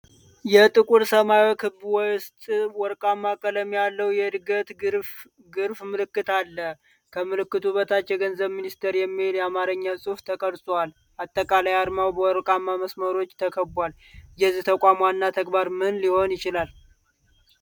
በጥቁር ሰማያዊ ክብ ውስጥ፣ ወርቃማ ቀለም ያለው የዕድገት ግራፍ ምልክት አለ። ከምልክቱ በታች "የገንዘብ ሚኒስቴር" የሚል የአማርኛ ጽሑፍ ተቀርጿል። አጠቃላይ አርማው በወርቃማ መስመሮች ተከቧል። የዚህ ተቋም ዋና ተግባር ምን ሊሆን ይችላል?